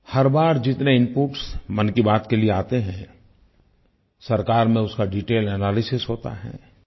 हर बार जितने इनपुट्स मन की बात के लिये आते हैं सरकार में उसका डिटेल एनालिसिस होता है